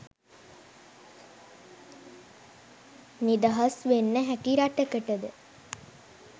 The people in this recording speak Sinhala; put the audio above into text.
නිදහස් වෙන්න හැකි රටකටද?